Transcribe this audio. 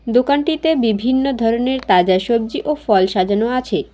দোকানটিতে বিভিন্ন ধরনের তাজা সবজি ও ফল সাজানো আছে।